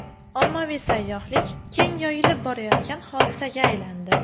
Ommaviy sayyohlik keng yoyilib borayotgan hodisaga aylandi.